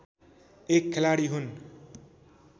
एक खेलाडी हुन्